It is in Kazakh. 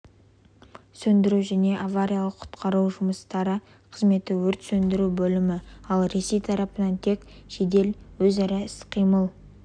сөндіру және авариялық-құтқару жұмыстары қызметі өрт сөндіру бөлімі ал ресей тарапынан тек жедел өзара іс-қимыл